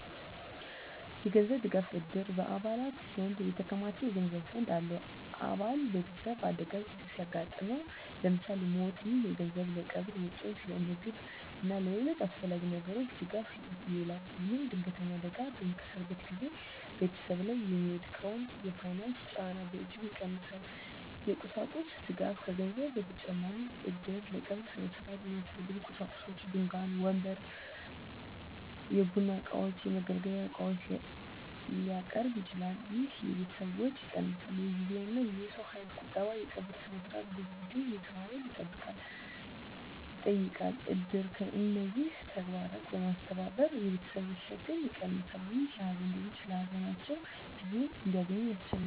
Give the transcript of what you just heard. የገንዘብ ድጋፍ: እድር በአባላት ዘንድ የተከማቸ የገንዘብ ፈንድ አለው። አባል ቤተሰብ አደጋ ሲያጋጥመው (ለምሳሌ ሞት)፣ ይህ ገንዘብ ለቀብር ወጪዎች፣ ለምግብ እና ለሌሎች አስፈላጊ ነገሮች ድጋፍ ይውላል። ይህም ድንገተኛ አደጋ በሚከሰትበት ጊዜ ቤተሰብ ላይ የሚወድቀውን የፋይናንስ ጫና በእጅጉ ይቀንሳል። የቁሳቁስ ድጋፍ: ከገንዘብ በተጨማሪ እድር ለቀብር ሥነ ሥርዓት የሚያስፈልጉ ቁሳቁሶችን (ድንኳን፣ ወንበር፣ የቡና እቃዎች፣ የመገልገያ ዕቃዎች) ሊያቀርብ ይችላል። ይህ የቤተሰብን ወጪ ይቀንሳል። የጊዜና የሰው ኃይል ቁጠባ: የቀብር ሥነ ሥርዓት ብዙ ጊዜና የሰው ኃይል ይጠይቃል። እድር እነዚህን ተግባራት በማስተባበር የቤተሰብን ሸክም ይቀንሳል፣ ይህም ሀዘንተኞች ለሀዘናቸው ጊዜ እንዲያገኙ ያስችላል።